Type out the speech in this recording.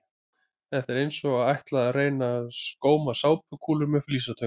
Þetta er eins og að ætla að reyna að góma sápukúlur með flísatöng!